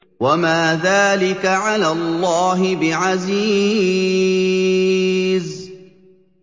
وَمَا ذَٰلِكَ عَلَى اللَّهِ بِعَزِيزٍ